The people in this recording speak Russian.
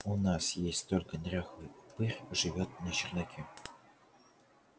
у нас есть только дряхлый упырь живёт на чердаке